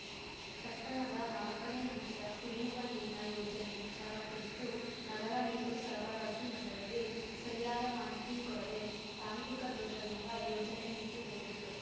ಪಟ್ಟಣದ ನಾಲಕ್ಕನೇ ಹಂತದ ಕುಡಿಯುವ ನೀರಿನ ಯೋಜನೆ ವಿಚಾರ ಕುರಿತು ನಗರ ನೀರು ಸರಬರಾಜು ಮಂಡಳಿಗೆ ಸರಿಯಾದ ಮಾಹಿತಿ ಕೊಡದೇ ತಾಂತ್ರಿಕ ದೋಷದಿಂದ ಯೋಜನೆ ನಿಂತು ಹೋಗಿತ್ತು